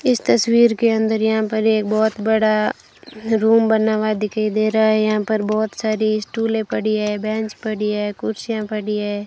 इस तस्वीर के अंदर यहां पर ये बहोत बड़ा रूम बना हुआ दिखाई दे रहा है यहां पर बहोत सारी स्टूले पड़ी है बेंच पड़ी है कुर्सियां पड़ी है।